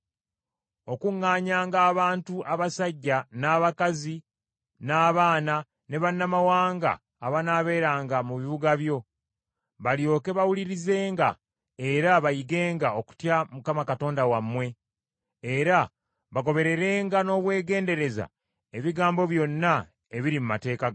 Okuŋŋaanyanga abantu: abasajja, n’abakazi, n’abaana, ne bannamawanga abanaaberanga mu bibuga byo, balyoke bawulirizenga era bayigenga okutya Mukama Katonda wammwe, era bagobererenga n’obwegendereza ebigambo byonna ebiri mu mateeka gano.